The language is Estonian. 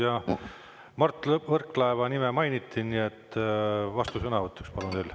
Ja Mart Võrklaeva nime mainiti, nii et teie vastusõnavõtt, palun.